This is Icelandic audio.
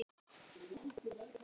Þín, Kristín Helga.